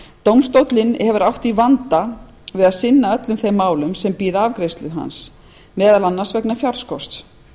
dómstólinn hefur átt í vanda við að sinna öllum þeim málum sem bíða afgreiðslu hans meðal annars vegna fjárskorts